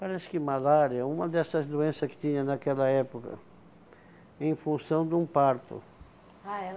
Parece que malária, uma dessas doença que tinha naquela época, em função de um parto. Ah, ela